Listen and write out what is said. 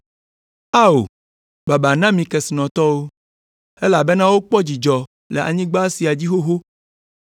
“Ao, baba na mi kesinɔtɔwo, elabena wokpɔ dzidzɔ le anyigba sia dzi xoxo.